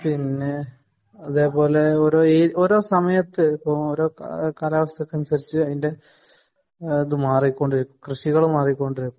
പിന്നെ അതേപോലെ ഓരോ സമയത്തു് കാലാവസ്ഥക്കു അനുസരിച്ചു അതിന്റെ കൃഷികളും മാറിക്കൊണ്ടിരിക്കും